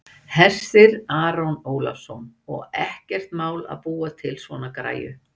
Hersir Aron Ólafsson: Og er ekkert mál að búa til svona græju?